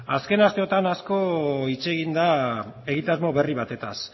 azken asteotan asko hitz egin da egitasmo berri batez